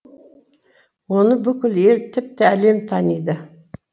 оны бүкіл ел тіпті әлем таниды